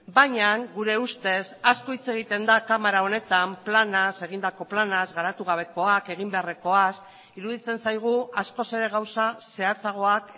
baina gure ustez asko hitz egiten da kamara honetan planaz egindako planaz garatu gabekoak egin beharrekoaz iruditzen zaigu askoz ere gauza zehatzagoak